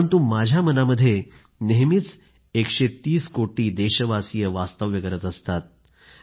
परंतु माझ्या मनामध्ये नेहमीच 130 कोटी देशवासी वास्तव्य करत असतात